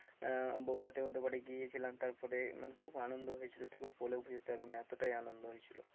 আহ বউ ভাতে ওদের বাড়িতে গিয়েছিলাম তারপরে মানে খুব আনন্দ হয়েছিল তোকে বলে বোঝাতে পারবো না এতটাই আনন্দ হয়েছিল।